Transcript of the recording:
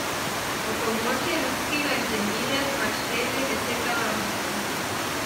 Ob pomoči ruskega inženirja smo našteli deset narodnosti.